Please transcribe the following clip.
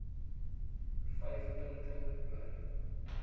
vyf punte bly